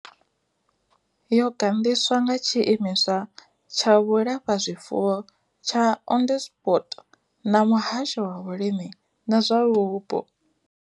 Yo gandiswa nga tshiimiswa tsha vhulafhazwifuwo tsha Onderstepoort na muhasho wa vhulimi na zwa vhupo.